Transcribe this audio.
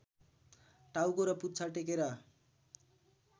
टाउको र पुच्छर टेकेर